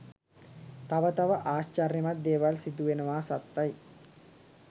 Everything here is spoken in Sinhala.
තව තව ආශ්චර්යමත් දේවල් සිදුවෙනවා සත්තයි.